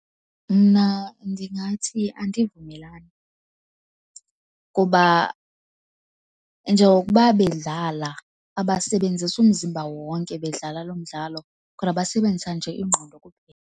Mna ndingathi andivumelani kuba njengokuba bedlala, abasebenzisi umzimba wonke bedlala lo mdlalo, kodwa basebenzisa nje ingqondo.